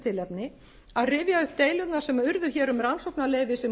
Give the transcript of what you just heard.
tilefni að rifja upp deilurnar sem urðu hér um rannsóknarleyfi